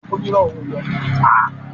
Rárá, kò lọ sí GRA